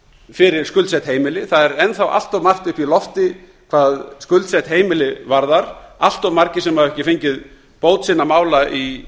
fyrir skuldsett heimili það er enn þá allt of margt upp í loft hvað skuldsett heimili varðar allt of margir sem hafa ekki fengið bót sinna mála